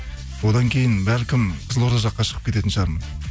одан кейін бәлкім қызылорда жаққа шығып кететін шығармын